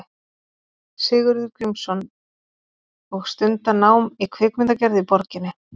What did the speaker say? Sigurður Grímsson og stunda nám í kvikmyndagerð í borginni.